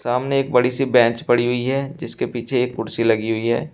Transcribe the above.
सामने एक बड़ी सी बेंच पड़ी हुई है जिसके पीछे एक कुर्सी लगी हुई है।